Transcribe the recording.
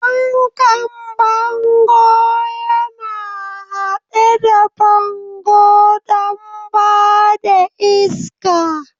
Fankan bango yana haɗe da bango don ba da iska.